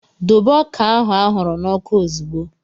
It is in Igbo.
Dobe ọka ahụ e ahuru na oku ozugbo!